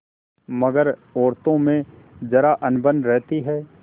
मगर औरतों में जरा अनबन रहती है